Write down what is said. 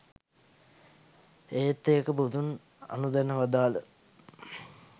ඒත් ඒක බුදුන් අනුදැන වදාළ